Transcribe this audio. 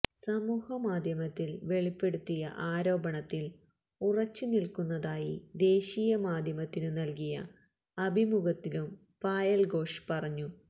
സമൂഹമാധ്യമത്തില് വെളിപ്പെടുത്തിയ ആരോപണത്തില് ഉറച്ചുനില്ക്കുന്നതായി ദേശീയ മാധ്യമത്തിനു നല്കിയ അഭിമുഖത്തിലും പായല് ഘോഷ് പറഞ്ഞു